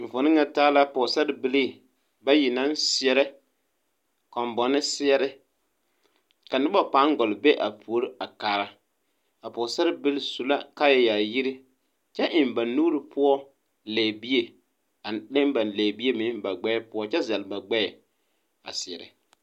Enfuone ŋa taa la pɔɔsarebilii bayi naŋ seɛɛrɛ kɔnbɔne seɛre ka noba paŋ gɔlle be a puore kaara a pɔɔsarebilii su la kaayɛ yaayire kyɛ eŋ ba nuure poɔ lɛbie a leŋ ba lɛbie meŋ ba gbɛɛ poɔ kyɛ zɛl ba gbɛɛ a seɛrɛ.